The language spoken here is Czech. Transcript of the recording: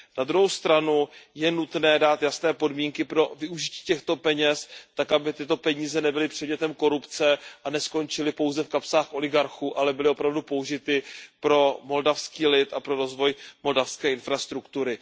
Na druhou stranu je nutné dát jasné podmínky pro využití těchto peněz tak, aby tyto peníze nebyly předmětem korupce a neskončily pouze v kapsách oligarchů, ale byly opravdu použity pro moldavský lid a pro rozvoj moldavské infrastruktury.